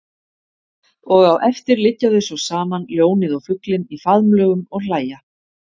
Og á eftir liggja þau svo saman ljónið og fuglinn í faðmlögum og hlæja.